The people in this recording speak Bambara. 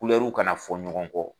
Kulɛriw kana fɔ ɲɔgɔn kɔ.